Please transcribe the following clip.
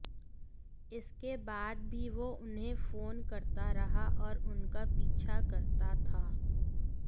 इसके बाद भी वो उन्हें फोन करता रहा और उनका पीछा करता था